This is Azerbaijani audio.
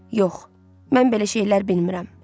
Yox, mən belə şeylər bilmirəm.